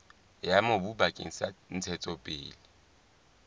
ya mobu bakeng sa ntshetsopele